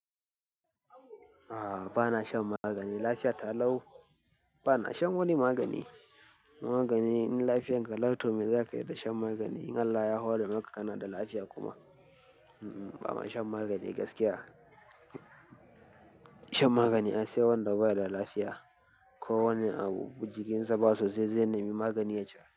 A'a, ba na shan magani. Lafiya ta lau bana shan wani magani. Magani in lafiyarka lau, to me zaka yi da shan magani? Allah ya hore maka kanada lafiya kuma. Ba ma shan magani gaskiya. Shan magani aisai wanda bai da lafiya ko wani abu jikin sa ba sosai. Zai nemi magani ya sha.